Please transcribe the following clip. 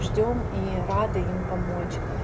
ждём и радуем помочь